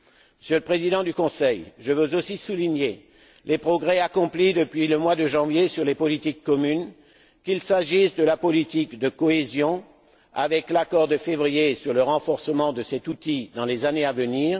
Monsieur le Président du Conseil, je veux aussi souligner les progrès accomplis depuis le mois de janvier dans les politiques communes qu'il s'agisse de la politique de cohésion, avec l'accord de février sur le renforcement de cet outil dans les années à venir